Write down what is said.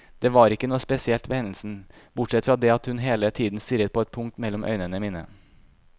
Det var ikke noe spesielt ved hendelsen, bortsett fra det at hun hele tiden stirret på et punkt mellom øynene mine.